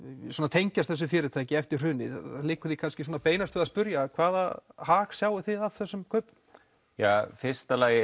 tengjast þessu fyrirtæki eftir hrunið hvaða hag sjáið þið af þessum kaupum í fyrsta lagi